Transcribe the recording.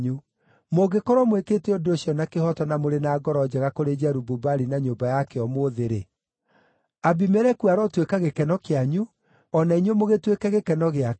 mũngĩkorwo mwĩkĩte ũndũ ũcio na kĩhooto, na mũrĩ na ngoro njega kũrĩ Jerubu-Baali na nyũmba yake ũmũthĩ-rĩ, Abimeleku arotuĩka gĩkeno kĩanyu, o na inyuĩ mũgĩtuĩke gĩkeno gĩake!